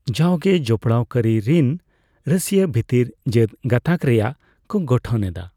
ᱡᱟᱣᱜᱮ ᱡᱚᱯᱚᱲᱟᱣ ᱠᱟᱹᱨᱤ ᱨᱤᱱ ᱨᱟᱹᱥᱭᱟᱹ ᱵᱷᱤᱛᱤᱨ ᱡᱟᱹᱛ ᱜᱟᱛᱟᱠ ᱨᱮᱭᱟᱜ ᱠᱚ ᱜᱚᱴᱷᱚᱱ ᱮᱫᱟ ᱾